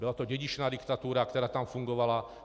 Byla to dědičná diktatura, která tam fungovala.